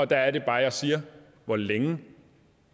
der er det bare jeg siger hvor længe